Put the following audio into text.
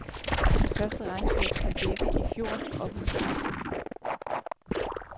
Det første regnskab skal dække i fjor, oplyser amtet.